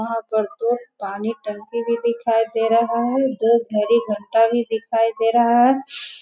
यहाँ पर दो पानी टंकी भी दिखाई दे रहा है दो घड़ी घंटा भी दिखाई दे रहा है।